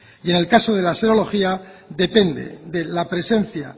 y en el caso de la serología depende de la presencia